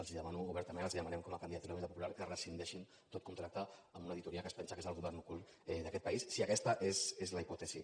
els demano obertament els ho demanem com a candidatura d’unitat popular que rescindeixin tot contracte amb una auditoria que es pensa que és el govern ocult d’aquest país si aquesta és la hipòtesi